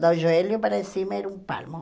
Do joelho para cima era um palmo.